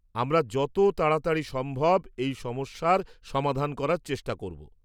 আমরা যত তাড়াতাড়ি সম্ভব এই সমস্যার সমাধান করার চেষ্টা করব।